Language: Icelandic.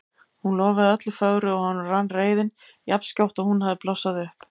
Hún lofaði öllu fögru og honum rann reiðin jafn skjótt og hún hafði blossað upp.